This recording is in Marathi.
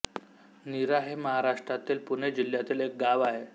नीरा हे महाराष्ट्रातील पुणे जिल्ह्यातील एक गाव आहे